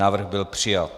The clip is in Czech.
Návrh byl přijat.